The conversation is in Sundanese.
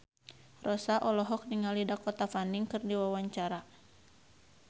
Rossa olohok ningali Dakota Fanning keur diwawancara